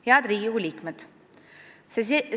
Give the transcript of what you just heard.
Head Riigikogu liikmed!